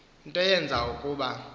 nto yenze ukuba